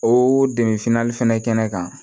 O dɛmɛ fini fɛnɛ kɛnɛ kan